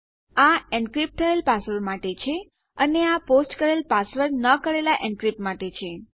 આ એનક્રીપ્ટ થયેલ માટે છે અને આ પોસ્ટ કરેલ પાસવર્ડ ન કરેલાં એનક્રીપ્ટ માટે છે